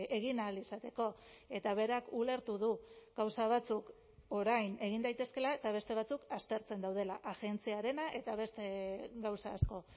egin ahal izateko eta berak ulertu du gauza batzuk orain egin daitezkeela eta beste batzuk aztertzen daudela agentziarena eta beste gauza asko